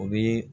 O bi